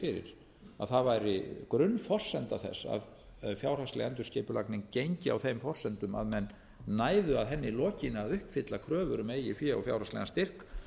að það væri grunnforsenda þess að fjárhagsleg endurskipulagning gengi á þeim forsendum að menn næðu að henni lokinni að uppfylla kröfur um eigið fé og fjárhagslegan styrk